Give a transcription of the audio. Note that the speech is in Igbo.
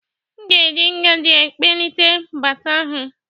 M ga-eji ngaji kpalite baata ahụ.